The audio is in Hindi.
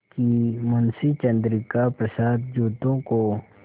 कि मुंशी चंद्रिका प्रसाद जूतों को